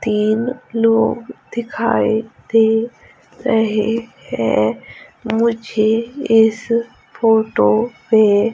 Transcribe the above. तीन लोग दिखाई दे रहे हैं मुझे इस फोटो में--